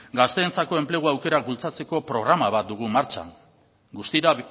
gazteentzako enplegu aukerak bultzatzeko programa bat dugu martxan guztira